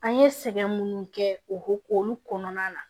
An ye sɛgɛn minnu kɛ o k'olu kɔnɔna na